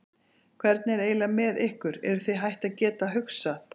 Hvernig er eiginlega með ykkur, eruð þið hætt að geta hugsað?